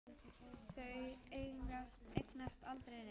Þau eignast aldrei neitt.